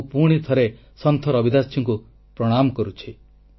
ମୁଁ ପୁଣିଥରେ ସନ୍ଥ ରବିଦାସଙ୍କୁ ପ୍ରଣାମ କରୁଛି